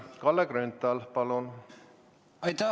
Kalle Grünthal, palun!